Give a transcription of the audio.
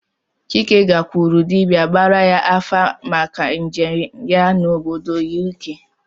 Chike gakwuru dibịa gbara ya afa maka njem ya n'obodo U.K